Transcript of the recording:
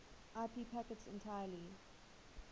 ip packets entirely